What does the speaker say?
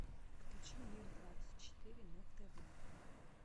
включи мир двадцать четыре на тв